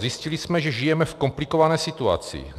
Zjistili jsme, že žijeme v komplikované situaci.